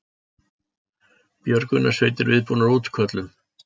Björgunarsveitir viðbúnar útköllum